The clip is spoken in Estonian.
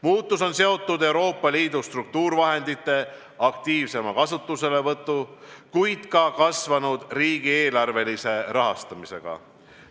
Muutus on seotud Euroopa Liidu struktuurivahendite aktiivsema kasutuselevõtu, kuid ka kasvanud riigieelarvelise rahastamisega.